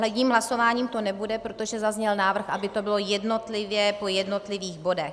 Jedním hlasováním to nebude, protože zazněl návrh, aby to bylo jednotlivě po jednotlivých bodech.